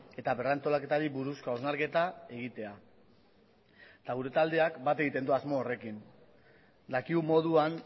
eta berrantolaketari buruzko hausnarketa egitea eta gure taldeak bat egiten du asmo horrekin dakigun moduan